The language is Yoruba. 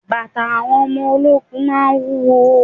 Bàtà àwọn ọmọ ológun máa ń wúwo.